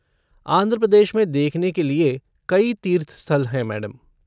आंध्र प्रदेश में देखने के लिए कई तीर्थ स्थल हैं मैडम।